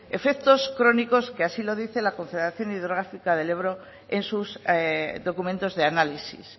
efectos crónicos que así lo dice la confederación hidrográfica del ebro en sus documentos de análisis